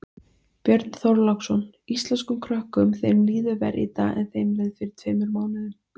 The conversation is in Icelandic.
Björn Þorláksson: Íslenskum krökkum þeim líður verr í dag en þeim leið fyrir tveimur mánuðum?